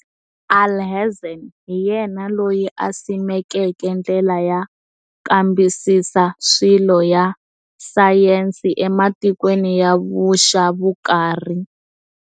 Alhazen hi yena loyi a simekeke ndlela ya kambisisa swilo ya sayensi ematikweni ya vuxavukarhi.